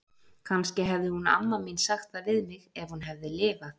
Kannski hefði hún amma mín sagt það við mig, ef hún hefði lifað.